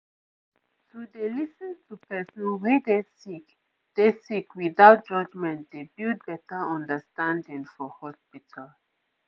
to dey lis ten to person wey dey sick dey sick without judgement dey build better understanding for hospital